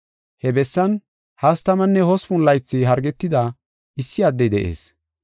He bessan hastamanne hospun laythi hargetida issi addey de7ees.